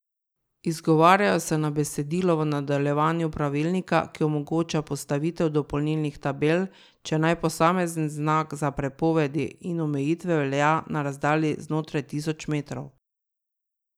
Izgovarjajo se na besedilo v nadaljevanju Pravilnika, ki omogoča postavitev dopolnilnih tabel, če naj posamezen znak za prepovedi in omejitve velja na razdalji znotraj tisoč metrov.